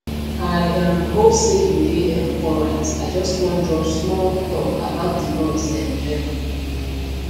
i um hope say you dey um alright i just wan drop small talk about the noise um level